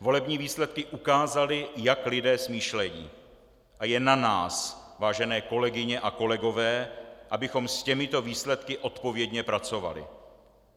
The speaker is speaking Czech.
Volební výsledky ukázaly, jak lidé smýšlejí, a je na nás, vážené kolegyně a kolegové, abychom s těmito výsledky odpovědně pracovali.